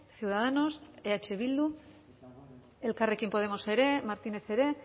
ciudadanos eh bildu elkarrekin podemos ere martínez ere